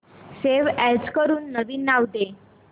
save as करून नवीन नाव दे